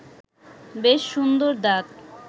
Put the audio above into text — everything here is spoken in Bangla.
বেশ সুন্দর দাঁত